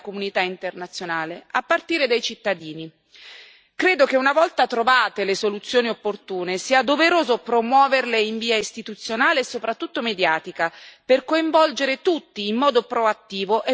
Credo che una volta trovate le soluzioni opportune sia doveroso promuoverle in via istituzionale e soprattutto mediatica, per coinvolgere tutti in modo proattivo e per poter permettere a tutti di offrire il loro contributo.